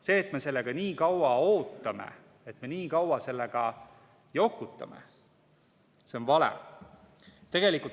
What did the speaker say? See, et me sellega nii kaua ootame, et me nii kaua sellega jokutame, see on vale.